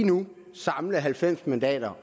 nu kan samle halvfems mandater